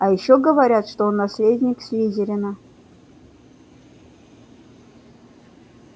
а ещё говорят что он наследник слизерина